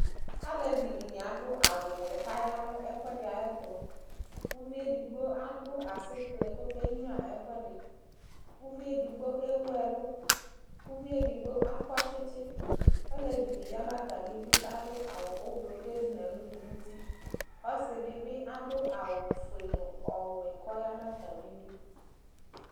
Alevidɩnɩ adʋ awʋwɛ kaya nʋ ɛkʋɛdɩ ayɛtʋ , k'uviedigbo adʋ asɩkplɛ kokenyuǝ ɛkʋɛdɩ, uviedigbo ewuɛlʋ, uvieddigbo akɔ tsitsi Olevidɩ ya n'atamidu kadʋ awʋ ʋblʋ kezi n'ɛlʋ dʋ n'uti Ɔsɩdɩ bɩ adʋ awʋ ofue n'ɔwɛ k'ɔya n'atamidu